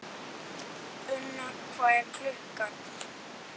Unna, hvað er klukkan?